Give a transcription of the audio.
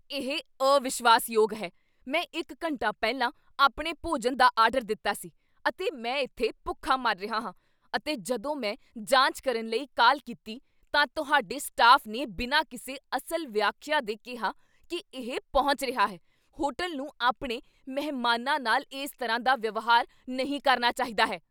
ਇਹ ਅਵਿਸ਼ਵਾਸ਼ਯੋਗ ਹੈ। ਮੈਂ ਇੱਕ ਘੰਟਾ ਪਹਿਲਾਂ ਆਪਣੇ ਭੋਜਨ ਦਾ ਆਰਡਰ ਦਿੱਤਾ ਸੀ, ਅਤੇ ਮੈਂ ਇੱਥੇ ਭੁੱਖਾ ਮਰ ਰਿਹਾ ਹਾਂ। ਅਤੇ ਜਦੋਂ ਮੈਂ ਜਾਂਚ ਕਰਨ ਲਈ ਕਾਲ ਕੀਤੀ, ਤਾਂ ਤੁਹਾਡੇ ਸਟਾਫ ਨੇ ਬਿਨਾਂ ਕਿਸੇ ਅਸਲ ਵਿਆਖਿਆ ਦੇ ਕਿਹਾ ਕੀ ਇਹ ਪਹੁੰਚ ਰਿਹਾ ਹੈ। ਹੋਟਲ ਨੂੰ ਆਪਣੇ ਮਹਿਮਾਨਾਂ ਨਾਲ ਇਸ ਤਰ੍ਹਾਂ ਦਾ ਵਿਵਹਾਰ ਨਹੀਂ ਕਰਨਾ ਚਾਹੀਦਾ ਹੈ।